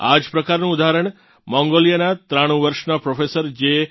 આ જ પ્રકારનું ઉદાહરણ મંગોલિયાનાં 93 વર્ષનાં પ્રોફેસર જે